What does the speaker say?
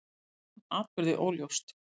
Hún man atburði óljóst.